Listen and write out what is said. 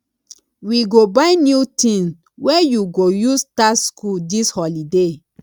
we go buy new tin wey you go use start skool dis holiday